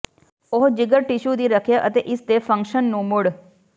ਉਹ ਜਿਗਰ ਟਿਸ਼ੂ ਦੀ ਰੱਖਿਆ ਅਤੇ ਇਸ ਦੇ ਫੰਕਸ਼ਨ ਨੂੰ ਮੁੜ